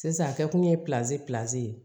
Sisan a kɛ kun ye pizeli peze